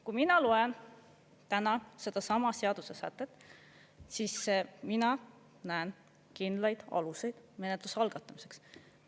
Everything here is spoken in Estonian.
Kui mina loen täna sedasama seaduse sätet, siis mina näen kindlaid aluseid menetluse algatamiseks.